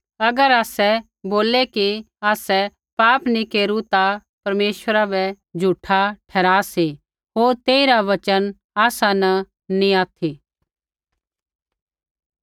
अगर बोललै कि आसै पाप नी केरू ता परमेश्वरा बै झूठा ठहरा सी होर तेइरा वचन आसा न नैंई ऑथि